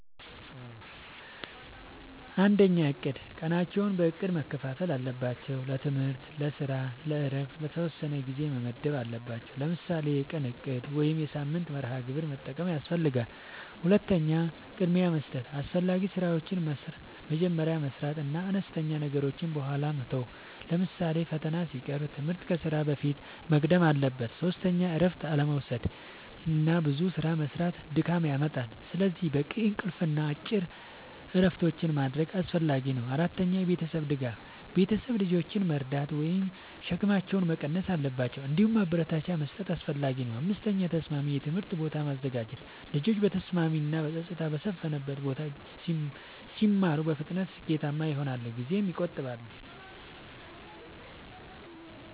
፩. እቅድ፦ ቀናቸውን በእቅድ መከፋፈል አለባቸው። ለትምህርት፣ ለስራ እና ለእረፍት የተወሰነ ጊዜ መመደብ አለባቸዉ። ለምሳሌ የቀን እቅድ ወይም የሳምንት መርሃ ግብር መጠቀም ያስፈልጋል። ፪. ቅድሚያ መስጠት፦ አስፈላጊ ስራዎችን መጀመሪያ መስራት እና አነስተኛ ነገሮችን በኋላ መተው። ለምሳሌ ፈተና ሲቀርብ ትምህርት ከስራ በፊት መቅደም አለበት። ፫. እረፍት አለመዉሰድና ብዙ ስራ መስራት ድካም ያመጣል። ስለዚህ በቂ እንቅልፍ እና አጭር እረፍቶች ማድረግ አስፈላጊ ነው። ፬. የቤተሰብ ድጋፍ፦ ቤተሰብ ልጆችን መርዳት ወይም ሸክማቸውን መቀነስ አለባቸው። እንዲሁም ማበረታቻ መስጠት አስፈላጊ ነው። ፭. ተስማሚ የትምህርት ቦታ ማዘጋጀት፦ ልጆች በተስማሚ እና ጸጥታ በሰፈነበት ቦታ ሲማሩ በፍጥነት ስኬታማ ይሆናሉ ጊዜም ይቆጥባሉ።